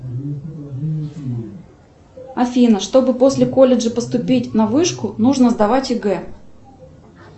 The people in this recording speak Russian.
афина чтобы после колледжа поступить на вышку нужно сдавать егэ